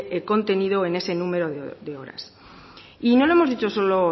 contenido en ese número de horas y no lo hemos dicho solo